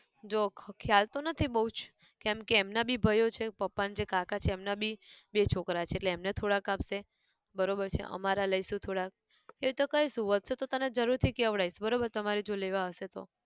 જો ખ ખ્યાલ તો નથી બઉજ કેમકે એમના બી ભયો છે પપ્પા ન જે કાકા છે એમના બી, બે છોકરા છે એટલે એમને થોડાક આપે બરોબર છે અમારા લઈશુ થોડાક એતો કહીશુ વધશે તો તને જરૂર થી કહેવડાઇશ બરોબર તમારે જો લેવા હશે તો